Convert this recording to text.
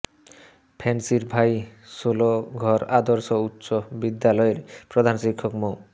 ফেন্সীর ভাই ষোলঘর আদর্শ উচ্চ বিদ্যালয়ের প্রধান শিক্ষক মো